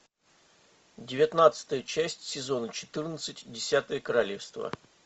девятнадцатая часть сезона четырнадцать десятое королевство